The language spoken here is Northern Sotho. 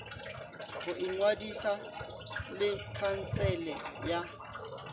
go ingwadiša le khansele ya